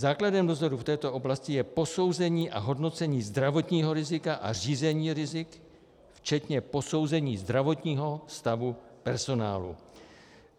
Základem dozoru v této oblasti je posouzení a hodnocení zdravotního rizika a řízení rizik včetně posouzení zdravotního stavu personálu.